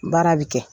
Baara bɛ kɛ